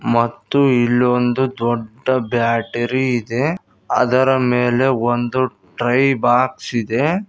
ಮತ್ತು ಇಲೊಂದು ದೊಡ್ಡ ಬ್ಯಾಟರಿ ಇದೆ ಅದರ ಮೇಲೆ ಒಂದು ಡ್ರೈ ಬಾಕ್ಸ್ ಇದೆ.